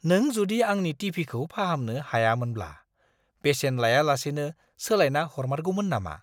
नों जुदि आंनि टि. भि. खौ फाहामनो हायामोनब्ला बेसेन लायालासेनो सोलायना हरमारगौमोन नामा?